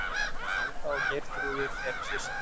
Alda og Geirþrúður, eru systur.